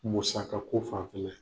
Musaka ko fanfɛla ye